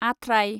आथ्राय